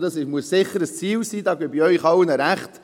Dies muss sicher ein Ziel sein, darin gebe ich Ihnen allen recht.